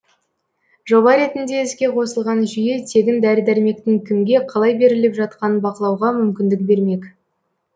жоба ретінде іске қосылған жүйе тегін дәрі дәрмектің кімге қалай беріліп жатқанын бақылауға мүмкіндік бермек